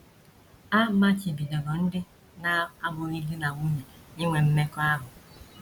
A machibidoro ndị na - abụghị di na nwunye inwe mmekọahụ.